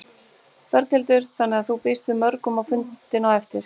Berghildur: Þannig að þú býst við mörgum á fundinn á eftir?